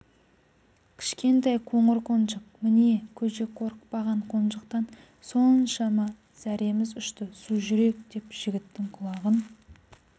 кішкентай қоңыр қонжық міне көжек қорықпаған қонжықтан соншама зәреміз ұшты сужүрек деп жігіттің құлағын